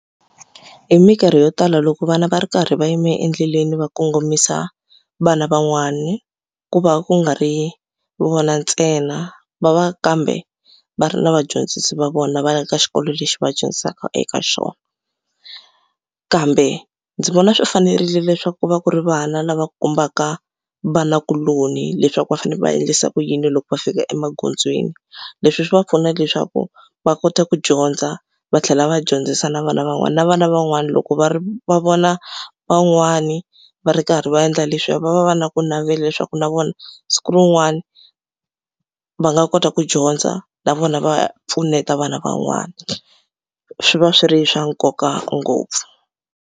Hi mikarhi yo tala loko vana va ri karhi va yime endleleni va kongomisa vana van'wani ku va ku nga ri vona ntsena va va kambe va ri na vadyondzisi va vona va ya ka xikolo lexi va dyondzisaka eka xona kambe ndzi vona swi fanerile leswaku ku va ku ri vana lava kombaka vanakuloni leswaku va fanele va endlisa ku yini loko va fika emagondzweni. Leswi swi va pfuna leswaku va kota ku dyondza va tlhela va dyondzisa na vana van'wana na vana van'wana loko va ri va vona van'wani va ri karhi va endla leswiya va va va na ku navela leswaku na vona siku rin'wana va nga kota ku dyondza na vona va pfuneta vana van'wana swi va swi ri swa nkoka ngopfu.